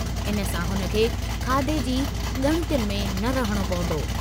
इन सां हुन खे खाधे जी ॻणितियुनि में न रहणो पवंदो।